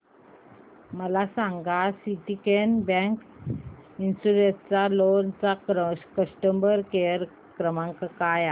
मला सांगा Syndicate bank educational loan चा कस्टमर केअर क्रमांक काय आहे